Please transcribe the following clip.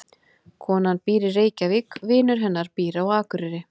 Konan býr í Reykjavík. Vinur hennar býr á Akureyri.